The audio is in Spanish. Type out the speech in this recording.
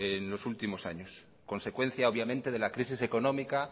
en los últimos años consecuencia obviamente de la crisis económicas